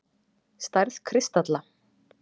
Stærð kristalla